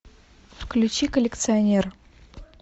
включи коллекционер